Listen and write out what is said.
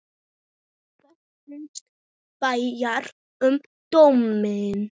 Hvað fannst Bjarna um dóminn?